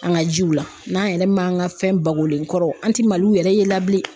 An ka jiw la n'an yɛrɛ man ka fɛn bakolen kɔrɔ an ti maliw yɛrɛ ye la bilen.